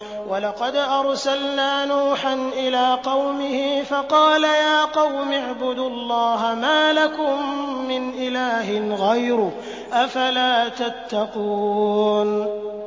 وَلَقَدْ أَرْسَلْنَا نُوحًا إِلَىٰ قَوْمِهِ فَقَالَ يَا قَوْمِ اعْبُدُوا اللَّهَ مَا لَكُم مِّنْ إِلَٰهٍ غَيْرُهُ ۖ أَفَلَا تَتَّقُونَ